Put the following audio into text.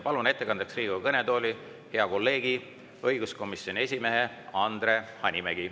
Palun ettekandeks Riigikogu kõnetooli hea kolleegi, õiguskomisjoni esimehe Andre Hanimägi.